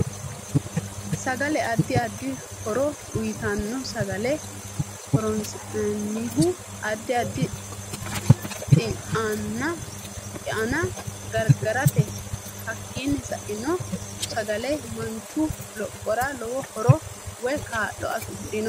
Sagale addi addi horo uyiitanno sagale horoosinanihu addi addi xianna gargarateeti hakiini sa'eno sagale manchu lophora lowo horo woy kaa'lo afidhino